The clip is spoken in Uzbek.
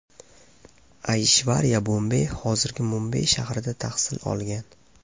Ayshvariya Bombey, hozirgi Mumbay shahrida tahsil olgan.